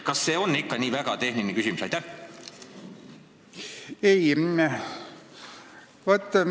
Kas see on ikka nii väga tehniline küsimus?